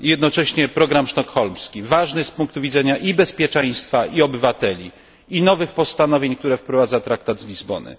Jednocześnie program sztokholmski, ważny z punktu widzenia i bezpieczeństwa i obywateli i nowych postanowień, które wprowadza traktat z Lizbony.